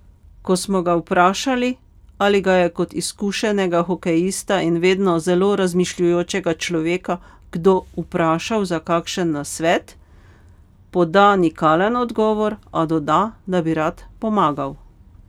Ko smo ga vprašali, ali ga je kot izkušenega hokejista in vedno zelo razmišljujočega človeka kdo vprašal za kakšen nasvet, poda nikalen odgovor, a doda, da bi rad pomagal.